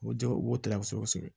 U bɛ jɛgɛ u b'o ta kosɛbɛ kosɛbɛ